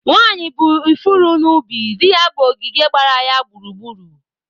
Nwanyị bụ ifuru n'ubi; di ya bụ ogige gbara ya gburugburu.